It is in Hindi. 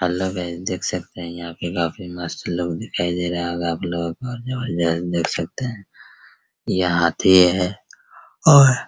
अलग है देख सकते हैं यहाँ पे काफी मस्त लोग दिखाई दे रहा होगा आप लोगों को देख सकते हैं ये हाथी है और --